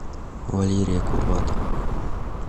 валерия курбатова